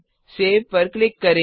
save पर click करें